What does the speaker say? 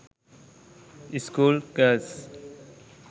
school girls